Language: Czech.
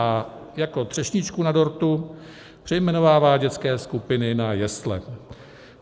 A jako třešničku na dortu - přejmenovává dětské skupiny na jesle.